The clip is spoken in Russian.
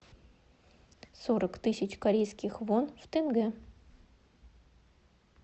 сорок тысяч корейских вон в тенге